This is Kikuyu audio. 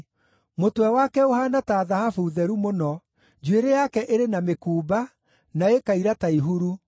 Mũtwe wake ũhaana ta thahabu theru mũno; njuĩrĩ yake ĩrĩ na mĩkumba, na ĩkaira ta ihuru.